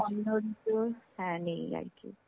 হ্যাঁ নেই আরকি.